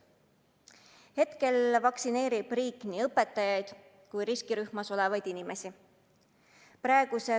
Praegu vaktsineerib riik nii õpetajaid kui riskirühmas olevaid inimesi.